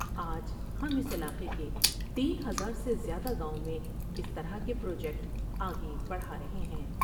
آج ہم اس علاقے کے تین ہزار سے زیادہ گاؤں میں اس طرح کے پروجیکٹ آگے بڑھار ہے